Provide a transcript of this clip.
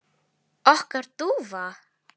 Okkar dúfa?